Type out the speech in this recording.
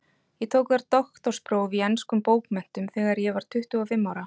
Ég tók þar doktorspróf í enskum bókmenntum, þegar ég var tuttugu og fimm ára.